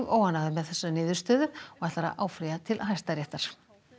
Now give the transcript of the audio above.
óánægður með þessa niðurstöðu og ætlar að áfrýja til Hæstaréttar